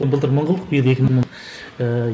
былтыр мың қылдық биыл екі мың ыыы